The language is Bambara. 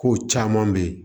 Kow caman be ye